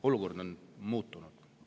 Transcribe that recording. Olukord on muutunud.